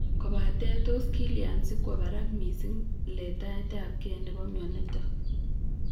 Kobate tos kilya sikwo barak mising letaetabge nebo mionitok?